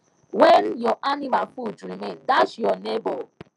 when your animal food remain dash your neighbour